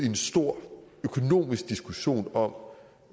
en stor økonomisk diskussion om